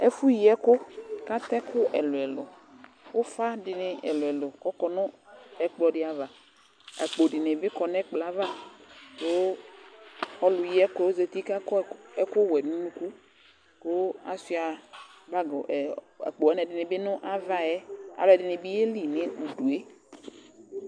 Ɛfʋyi ɛkʋ kʋ atɛ ɛkʋ ɛlʋ-ɛlʋ, ʋfa dɩnɩ ɛlʋ-ɛlʋ kʋ ɔkɔ nʋ ɛkplɔ dɩ ava Akpo dɩnɩ bɩ kɔ nʋ ɛkplɔ yɛ ava kʋ ɔlʋyi ɛkʋ yɛ zati kʋ akɔ ɛkʋwɛ nʋ unuku kʋ asʋɩa bag ɛ akpo wanɩ ɛdɩnɩ bɩ nʋ ava yɛ Alʋɛdɩnɩ bɩ yeli nʋ udu yɛ